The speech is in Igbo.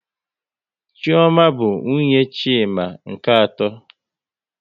Chioma bụ nwunye Chima nke atọ